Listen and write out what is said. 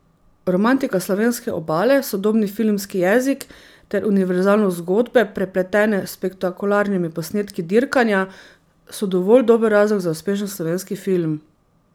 Romantika slovenske obale, sodobni filmski jezik ter univerzalnost zgodbe, prepletene s spektakularnimi posnetki dirkanja, so dovolj dober razlog za uspešen slovenski film.